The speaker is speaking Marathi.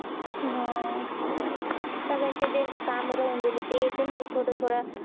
हा सगळ्यांचं जेंचं काम राहून गेले येते म्हणजे थोडं थोडं